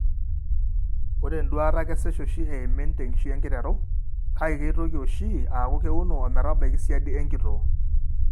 Ore enduata kesesh oshi eimin tenkishui enkiteru, kake keitoki oshi aaku keuno ometabaiki siadi enkitoo.